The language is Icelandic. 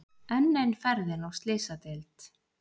Enn ein ferðin á Slysadeild.